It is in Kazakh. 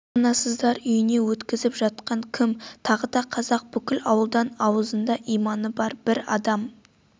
баспанасыздар үйіне өткізіп жатқан кім тағы да қазақ бүкіл ауылдан аузында иманы бар бір адам